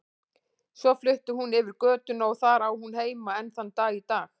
Svo flutti hún yfir götuna og þar á hún heima enn þann dag í dag.